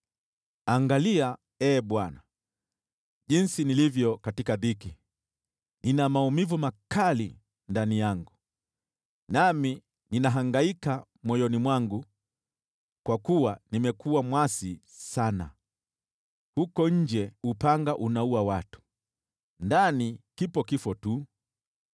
“Angalia, Ee Bwana , jinsi nilivyo katika dhiki! Nina maumivu makali ndani yangu, nami ninahangaika moyoni mwangu, kwa kuwa nimekuwa mwasi sana. Huko nje, upanga unaua watu, ndani, kipo kifo tu.